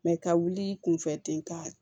ka wuli kunfɛ ten ka